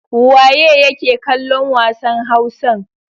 Waye yake kallon wasan Hausan?